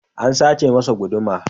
An sace masa guduma.